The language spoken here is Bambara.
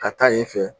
Ka taa yen fɛ